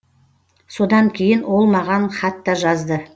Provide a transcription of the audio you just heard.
содан кейін ол маған хат та жазды